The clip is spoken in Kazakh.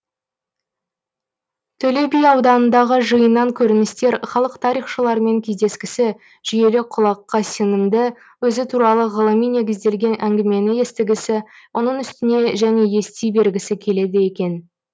төле би ауданындағы жиыннан көріністер халық тарихшылармен кездескісі жүйелі құлаққа сіңімді өзі туралы ғылыми негізделген әңгімені естігісі оның үстіне және ести бергісі келеді екен